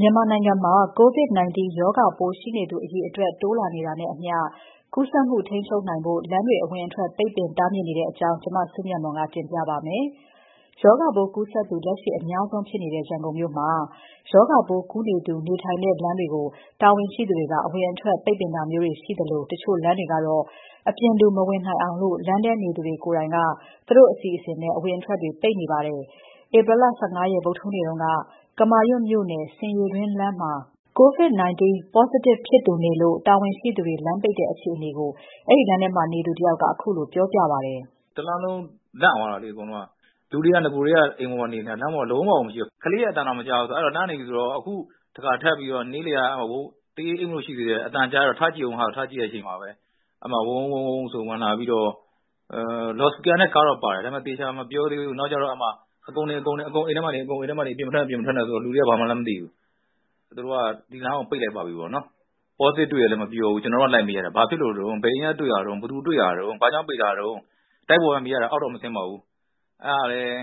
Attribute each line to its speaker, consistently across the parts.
Speaker 1: မြန်မာနိုင်ငံမှာ COVID-19 ရောဂါပိုးရှိနေသူအရေအတွက် တိုးလာနေတာနဲ့အမျှကူးစက်မှု ထိန်းချုပ်နိုင်ဖို့ လမ်းတွေအဝင်အထွက် ပိတ်ပင်တားမြစ်နေတဲ့အကြောင်း မစုမြတ်မွန်က တင်ပြပါမယ်။ ရောဂါပိုးကူးစက်သူ လက်ရှိအများဆုံးဖြစ်နေတဲ့ ရန်ကုန်မြို့မှာ ရောဂါပိုးကူးနေသူနေထိုင်တဲ့လမ်းတွေကို တာဝန်ရှိသူတွေက အဝင်အထွက် ပိတ်ပင်ထားတာမျိုးရှိသလို၊ တချို့လမ်းတွေကတော့ အပြင်လူ မဝင်နိုင်အောင် လမ်းထဲနေသူတွေက သူတို့အစီအစဉ်နဲ့ အဝင်အထွက်တွေ ပိတ်နေကြပါတယ်။ ဧပြီ ၁၅ ရက် ဗုဒ္မဟူးနေ့က ကမာရွတ်မြို့နယ် ဆင်ရေတွင်းလမ်းမှာ COVID-19 positive ဖြစ်သူနေလို့ တာဝန်ရှိ သူတွေ လမ်းပိတ်တဲ့အခြေအနေကို အဲဒီလမ်းထဲနေသူတယောက်က ခုလိုပြောပြပါတယ်
Speaker 2: ။ တလမ်းလုံးလန့်သွားတာပေါ့နော်။ တခါထပ်ပြီးတော့ နေလည်က တရေးအိပ်မလို့ ရှိသေးတယ် အသံကြားတော့ ထကြည့်တဲ့အချိန်မှာပဲ ဝုန်းဝုန်းဆိုပြီး ဝင်လာပြီးတော့ လော်စပီကာနဲ့ ကားတော့ပါတယ် နောက်ကျတော့ အကုန် အိမ်ထဲမှာနေ ၊ အပြင်မထွက်နဲ့ဆိုပြီးတော့ လူတွေက ဘာမှန်းလည်းမသိဘူး။ သူတို့က ဒီလမ်းကို ပိတ်လိုက်ပါပြီပေါ့နော်။ positive တွေ့တယ်လို့လည်း မပြောဘူး ကျနော်တို့က ဘာဖြစ်လို့တုန်း ၊ ဘယ်အချိန်ကတုန်း၊ ဘယ်သူတွေ့တာလဲ၊ ဘာကြောင့်ပိတ်တာလဲလို့ တိုက်ပေါ်က မေးရတယ် အောက်တော့မဆင်းဘူးပေါ့နော်။ အဲဒါလည်း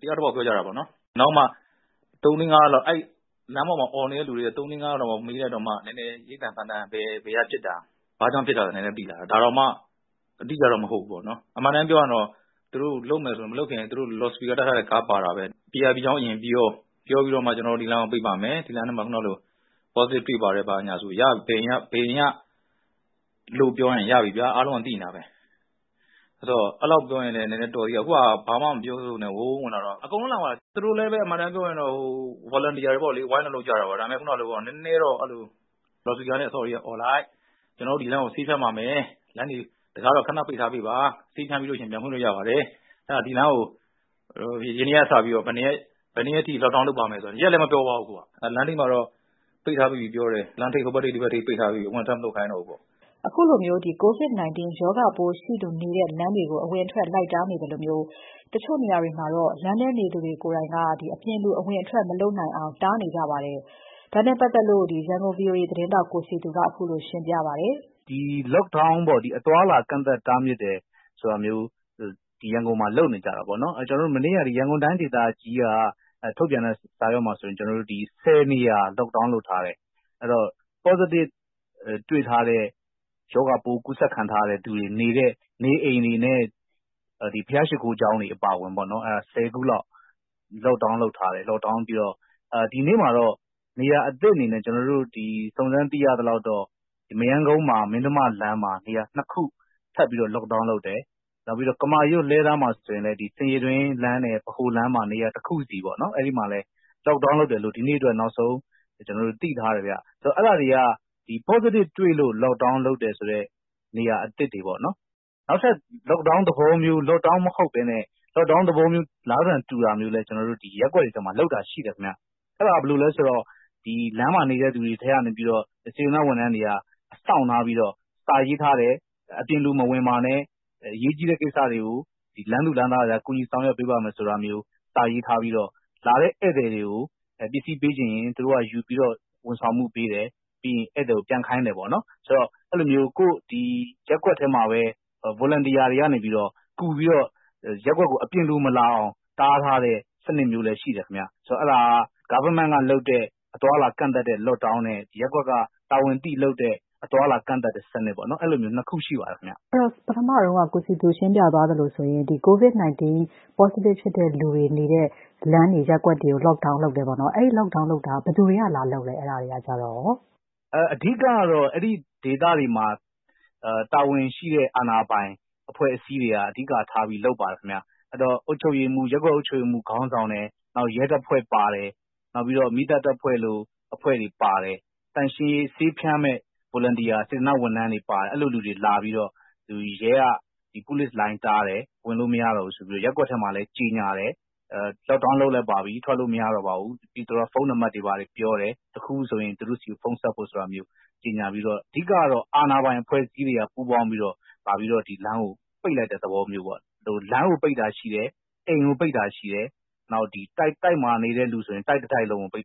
Speaker 2: တယောက်တပေါက် ပြောတာပေါ့နော်။ နောက်မှ လမ်းပေါ်မှာ အော်နေတဲ့ လူတွေကို မေးလိုက်တော့မှ ဘယ်က ဖြစ်တာ ၊ ဘာကြောင့်ဖြစ်တာလဲဆိုတာ နည်းနည်း သိလာတယ်။ ဒါတောင် အတိအကျတော့ မဟုတ်ဘူးပေါ့နော် အမှန်အတိုင်းပြောရင်တော့ သူတို့ လုပ်မယ်ဆိုရင် မလုပ်ခင် လော်စပီကာ တပ်တဲ့ ကားပါတာပဲ ၊ အကြောင်းအရာ ကို အရင်ပြောပြီးတော့ ကျနော်တို့ ဒီလမ်းကို ပိတ်ပါမယ် ၊ လမ်းထဲမှာ positive တွေ့တယ်၊ ဘယ်အိမ်ကလဲဆိုတာပြောရင် ရပါပြီဗျာ အားလုံးကလည်း သိနေတာပဲ။ အဲလောက်လုပ်ရင်လည်း တော်သေးတယ် အခုက ဘာမှ မပြောပဲနဲ့ ဝင်လာတော့ အကုန်လုံးလန့်သွားတယ် ။ သူတို့လည်း အမှန်အတိုင်းပြောရင် volunteer တွေပေါ့လေ ဝိုင်းလုပ်ကြတယ်။ ခုနလိုပေ့ါ နည်းနည်းတော့ လော်စပီကာနဲ့ အော်လိုက် ၊ ဒီလမ်းကို ဆေးဖြန်းပါမယ် ခဏ တံခါးတွေ ပိတ်ထားပေးပါ ၊ ဆေးဖြန်းပြီးရင် ပြန်ဖွင့်လို့ရပါတယ် ၊ အဲဒါ ဒီလမ်းကို ဒီနေ့ကနေစပြီးတော့ ဘယ်ရက်အထိ lock down လုပ်ပါမယ်ဆိုတာ အခုက ရက်လည်း မပြောသွားဘူး။ ဟိုဘက် လမ်းထိပ် ၊ ဒီဘက် လမ်းထိပ် မှာတော့ ပိတ်ထားပြီးပြီလို့တော့ ပြောတယ်။ ဘယ်သူကိုမှ ထပ်မထွက်ခိုင်းတော့ဘူးပေါ့
Speaker 1: ။ ခုလိုမျိုး COVID-19 ရောဂါပိုး ရှိသူနေတဲ့လမ်းတွေကို အဝင်အထွက် လိုက်တားနေသလို၊ တချို့နေရာတွေမှာတော့ လမ်းထဲနေသူတွေကိုယ်တိုင်က အပြင်လူ အဝင်အထွက် မလုပ်အောင် တားနေကြပါတယ်။ ဒါနဲ့ပတ်သက်လို့ ရန်ကုန် VOA သတင်းထောက် ကိုစည်သူက ခုလိုရှင်းပြပါတယ်။
Speaker 3: Lockdown ပေါ့ အသွားအလာ ကန့်သတ်တားမြစ်တာ ရန်ကုန်မှာ လုပ်နေတာပေါ့နော်။ ကျနော်တို့ မနေ့က ရန်ကုန်တိုင်း ဒေသကြီးက ထုတ်ပြန်တဲ့ စာရွက်မှာဆိုရင် ၁၀ နေရာ Lock down လုပ်ထားတယ်။ positive ရှိသူနေတဲ့ နေအိမ်တွေနဲ့ ဘုရားရှိခိုးကျောင်းတွေ အပါအဝင် ၁၀ ခုလောက် Lock down လုပ်ထားတယ်။ ဒီနေ့မှာတော့ နေရာအသစ်အနေနဲ့ စုံစမ်းသိရသလောက်ဆိုရင် မရမ်းကုန်းမှာ နေရာ ၂ ခု ထပ်ပြီးတော့ Lock down လုပ်ထားတယ်။ နောက်ပြီးတော့ ကမာရွတ် ၊ လှည်းတန်းမှာဆိုရင်လည်း ဆင်ရေတွင်းလမ်းနဲ့ ဗဟိုလမ်းမှာ တခုစီ Lock down လုပ်ထားတယ်လို့ ကျနော်တို့ ဒီနေ့အတွက် နောက်ဆုံးသိထားတယ်။ အဲဒါတွေက positive တွေ့လို့Lock down လုပ်ထားတဲ့ နေရာအသစ်တွေပေါ့နော်။ နောက်ထပ် Lock down သဘောမျိုး မဟုတ်ပဲနဲ့ Lock down သဘောမျိုး အလားသဏ္ဍန်တူတာလည်း ကျနော်တို့ ရပ်ကွက်တွေထဲမှာ လုပ်တာရှိတယ်။ အဲဒါ ဘယ်လိုလဲဆိုတော့ လမ်းမှာ နေတဲ့ သူတွေထဲကနေပြီးတော့ စေတနာ့ဝန်ထမ်းတွေက စောင့်ထားပြီးတော့ စာရေးထားတယ်၊ အပြင်လူမဝင်ပါနဲ့ အရေးကြီးတဲ့ ကိစ္စတွေကို လမ်းသူလမ်းသားတွေ ကူညီဆောင်ရွက်ပေးမယ်ဆိုတာမျိုး စာရေးထားပြီးတော့ လာတဲ့ ဧည့်သည်တွေကို ပစ္စည်းပေးစေချင်ရင် သူတို့က ယူပြီးတော့ ဝန်ဆောင်မှု ပေးတယ်။ ပြီးရင် ဧည့်သည်ကို ပြန်ခိုင်းတယ်ပေါ့နော်။ ဆိုတော့ ရပ်ကွက်ထဲမှာပဲ Volunteer တွေကနေပြီးတော့ ကူပြီးတော့ ရပ်ကွက်ကို အပြင်လူမလာအောင် တားထားတဲ့ စနစ်မျိုးလည်း ရှိတယ်ခင်ဗျ။ ဆိုတော့ အဲဒါက အစိုးရက လုပ်တဲ့အသွားအလာ ကန့်သတ်တားမြစ်တဲ့ Lock down နဲ့ ရပ်ကွက် က တာဝန်သိလုပ်တဲ့ အသွားအလာ ကန့်သတ်တာ အဲလိုမျိုး ၂ ခုရှိပါတယ်။ မေး။
Speaker 1: ။ အဲဒီတော့ အစက ကိုယ်စည်သူ ရှင်းပြသွားတာဆိုရင် COVID-19 positive လူတွေ နေတဲ့ လမ်းတွေ ရပ်ကွက်တွေကို Lock down လုပ်တယ်ပေါ့နော်။ အဲဒီ Lock down လုပ်တာကို ဘယ်သူတွေက လာလုပ်သလဲ။ အဓိကတော့
Speaker 3: အဲဒီဒေသတွေမှာ တာဝန်ရှိတဲ့ အာဏာပိုင်အဖွဲ့အစည်းတွေက အဓိကထားပြီး လုပ်ပါတယ်ခင်ဗျ။ အဲဒီတော့ ရပ်ကွက် အုပ်ချုပ်ရေးမှူးခေါင်းဆောင်နဲ့ ရဲတပ်ဖွဲ့ပါတယ်။ နောက်ပြီးတော့ မီးတပ် တပ်ဖွဲ့လို အဖွဲ့တွေပါတယ်။ သန့်ရှင်းရေး ဆေးဖြန်းမယ့် Volunteer စေတနာ့ဝန်ထမ်းတွေ ပါတယ်။ အဲလိုလူတွေလာပြီးတော့ ရဲကတော့ လိုင်းတားတယ် ဝင်လို့မရတော့ဘူးဆိုပြီးတော့ ၊ ရပ်ကွက်မှာလည်း ကြေညာတယ် Lock down လုပ်ပါပြီ ထွက်လို့မရတော့ဘူး ။ ပြီးတော့ တခုခုဆိုရင် သူတို့ဆီကို ဖုန်းဆက်ဖို့ ဖုန်းနံပတ်တွေ ပြောတယ် ။ အဓိကတော့ အာဏာပိုင်အဖွဲ့အစည်းတွေကပူးပေါင်းပြီးတော့ လမ်းကို ပိတ်လိုက်တဲ့သဘောမျိုးပေါ့။ လမ်းကို ပိတ်တာရှိတယ်၊ အိမ်ကို ပိတ်တာရှိတယ်၊ နောက်တိုက်မှာ နေတဲ့လူဆိုရင် တိုက်တခုလုံးကို ပိတ်တာ